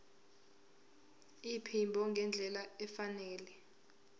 iphimbo ngendlela efanele